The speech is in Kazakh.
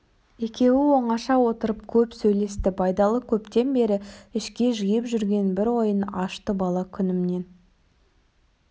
екеуі оңаша отырып көп сөйлесті байдалы көптен бері ішке жиып жүрген бір ойын ашты бала күнімнен